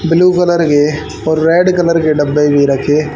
blue colour के और red colour के डब्बे भी रखे--